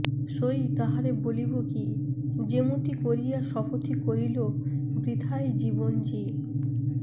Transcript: সই তাহারে বলিব কি যেমতি করিয়া শপথি করিল বৃথায় জীবন জী